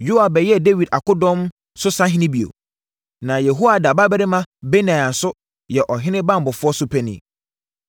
Yoab bɛyɛɛ Dawid akodɔm so sahene bio. Na Yehoiada babarima Benaia nso yɛ ɔhene banbɔfoɔ so panin.